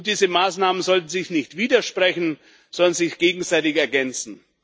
Und diese Maßnahmen sollten sich nicht widersprechen, sondern sich gegenseitig ergänzen.